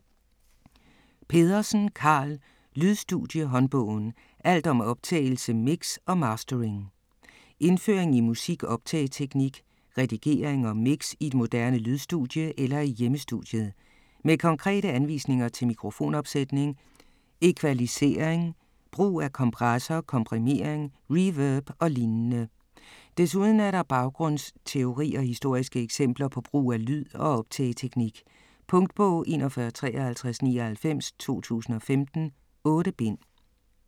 Pedersen, Karl: Lydstudie-håndbogen: alt om optagelse, mix og mastering Indføring i musik-optageteknik, redigering og mix i et moderne lydstudie eller i hjemmestudiet. Med konkrete anvisninger til mikrofonopsætning, equalisering, brug af kompressor, komprimering, reverb og lignende. Desuden er der baggrundsteori og historiske eksempler på brug af lyd- og optageteknik. Punktbog 415399 2015. 8 bind.